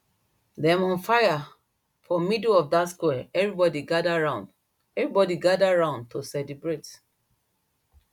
dem on fire for middle of dat square everybody gather round everybody gather round to celebrate